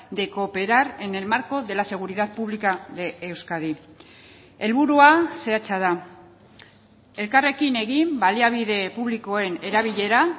de cooperar en el marco de la seguridad pública de euskadi helburua zehatza da elkarrekin egin baliabide publikoen erabilera